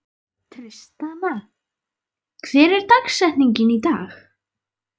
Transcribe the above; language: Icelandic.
Tristana, hver er dagsetningin í dag?